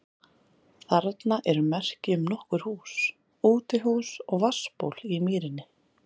Þarna eru merki um nokkur hús, útihús og vatnsból í mýrinni.